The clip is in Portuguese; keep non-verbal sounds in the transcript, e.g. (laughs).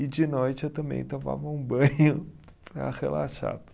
E de noite eu também tomava um banho (laughs) para relaxar.